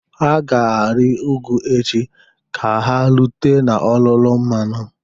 Ha ga-arị ugwu echi ka ha rute n'olulu mmanụ